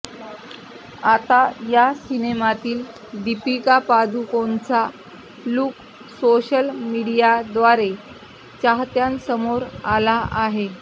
आता या सिनेमातील दीपिका पादुकोणचा लुक सोशल मिडीयाद्वारे चाहत्यांसमोर आला आहे